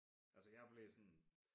Altså hjeg blev sådan